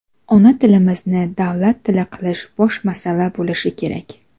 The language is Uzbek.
Ona tilimizni davlat tili qilish bosh masala bo‘lishi kerak.